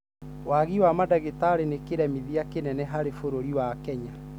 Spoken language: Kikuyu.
Wagi wa madagĩtari nĩ kĩremithia kĩnene harĩ bũruri wa Kenya.